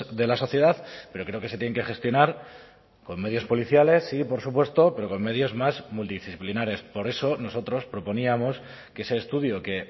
de la sociedad pero creo que se tienen que gestionar con medios policiales sí por supuesto pero con medios más multidisciplinares por eso nosotros proponíamos que ese estudio que